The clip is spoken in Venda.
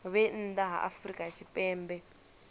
vhe nnḓa ha afrika tshipembe